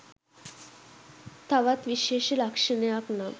තවත් විශේෂ ලක්‍ෂණයක් නම්